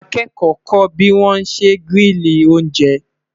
àwọn akẹkọ kò bi wọn ṣẹ grili oúnjẹ